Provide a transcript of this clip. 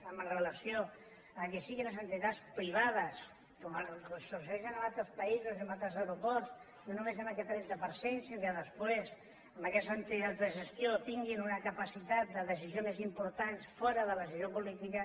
amb relació que siguin les entitats privades com succeeix en altres països i en altres aeroports no només amb aquest trenta per cent sinó que després en aquestes entitats de gestió tinguin una capacitat de decisió més important fora de la decisió política